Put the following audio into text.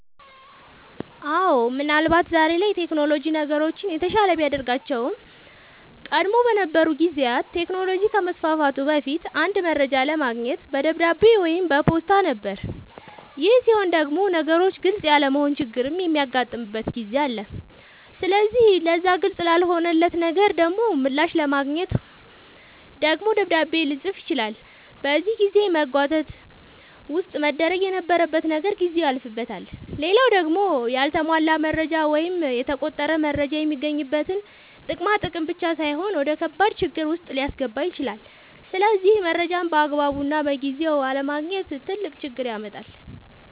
አወ ምን አልባት ዛሬ ላይ ቴክኖሎጅ ነገሮችን የተሻለ ቢያደርጋቸውም ቀደም በነበሩ ጊዜያት ቴክኖሎጅ ከመስፋፋቱ በፊት አንድ መረጃ ለማግኘት በደብዳቤ ወይም በፖስታ ነበር ይሄ ሲሆን ግን ነገሮች ግልፅ ያለመሆን ችግርም የሚያጋጥምበት ጊዜ አለ ስለዚህ ለዛ ግልፅ ላልሆነለት ነገር ደሞ ምላሽ ለማግኘት ደግሞ ደብዳቤ ልፅፍ ይችላል በዚህ የጊዜ መጓተት ውስጥ መደረግ የነበረበት ነገር ጊዜው ያልፍበታል። ሌላው ደሞ ያልተሟላ መረጃ ወይም የተቆረጠ መረጃ የሚገኝበትን ጥቅም ማጣት ብቻ ሳይሆን ወደከባድ ችግር ዉስጥ ሊያስገባ ይችላል ስለዚህ መረጃን ባግባቡና በጊዜው አለማግኘት ትልቅ ችግር ያመጣል